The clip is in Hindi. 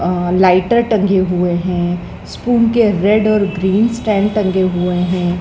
अह लाइटर टंगे हुए हैं स्पून के रेड और ग्रीन स्टैंड टंगे हुए हैं।